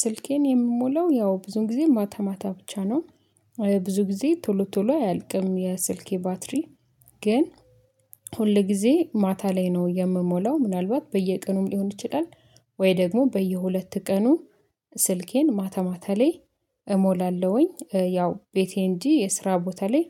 ስልኬን የምሞላው ያው ብዙ ጊዜ ማታ ማታ ብቻ ነው። ብዙ ጊዜ ቶሎ ቶሎ አያልቅም የስልኬ ባትሪ። ግን ሁል ጊዜ ማታ ላይ ነው የምሞላው ምናልባት በየቀኑም ሊሆን ይችላል። ወይ ደግሞ በየሁለት ቀኑ ስልኬን ማታማታ ላይ እሞላለሁኝ። ያው ቤቴ እንጂ የስራ ቦታ ላይ